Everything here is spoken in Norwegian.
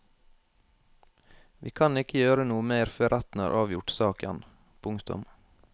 Vi kan ikke gjøre noe mer før retten har avgjort saken. punktum